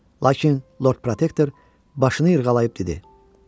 Lakin Lord Protektor başını yırğalayıb dedi.